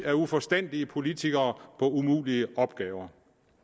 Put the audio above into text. af uforstandige politikere sendes på umulige opgaver